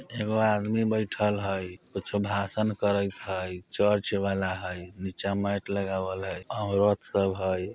एगो आदमी बैठल हई कुछो भाषण करत हई चर्च वाला हई नीचा मैट लगावल हई औरत सब हई।